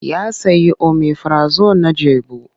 Ya sayi omifirazon na jabu.